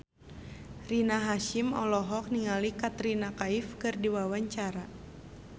Rina Hasyim olohok ningali Katrina Kaif keur diwawancara